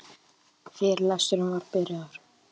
Fyrirlesturinn var byrjaður.